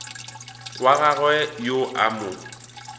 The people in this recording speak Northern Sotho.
wa gagwe yo a mo